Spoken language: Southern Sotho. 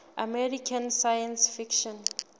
american science fiction